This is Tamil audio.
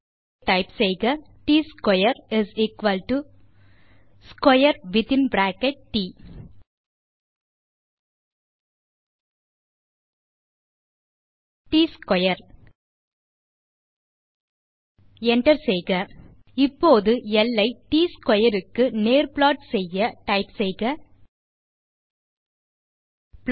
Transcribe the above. ஆகவே டைப் செய்க Tsquaresquare வித்தின்பிராக்கெட் ட் ட்ஸ்க்வேர் enter இப்போது ல் ஐ ட் ஸ்க்வேர் க்கு நேர் ப்ளாட் செய்ய நாம் டைப் செய்வது